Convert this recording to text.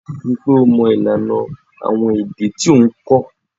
Ri i pe o mo ilana awon ede ti o n ko.